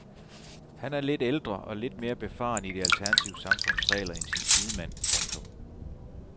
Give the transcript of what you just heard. Han er lidt ældre og lidt mere befaren i det alternative samfunds regler end sin sidemand. punktum